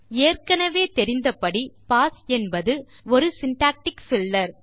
ஏற்கெனெவே தெரிந்தபடி பாஸ் என்பது ஒரு சின்டாக்டிக் பில்லர்